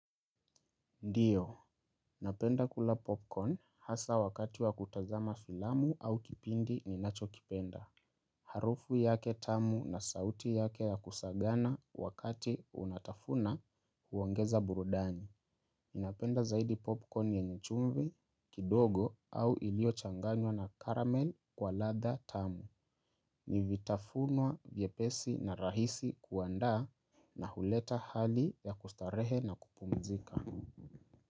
Ndiyo, napenda kula popcorn hasa wakati wa kutazama filamu au kipindi ninacho kipenda. Harufu yake tamu na sauti yake ya kusagana wakati unatafuna huongeza burudani. Ninapenda zaidi popcorn yenye chumvi, kidogo au iliyo changanywa na caramel kwa ladha tamu. Ni vitafunwa vyepesi na rahisi kuandaa na huleta hali ya kustarehe na kupumzika.